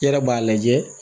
I yɛrɛ b'a lajɛ